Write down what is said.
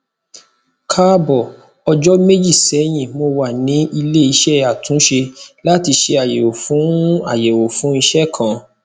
kaabo ọjọ meji sẹyin mo wa ni ileiṣẹ atunṣe lati ṣe ayẹwo fun ayẹwo fun iṣẹ kan